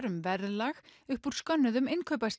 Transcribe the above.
um verðlag upp úr skönnuðum